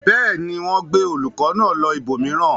Bẹ́ẹ̀ ni, wọ́n gbé olùkọ́ náà lọ ibòmíràn.